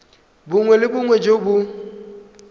bongwe le bongwe jo bo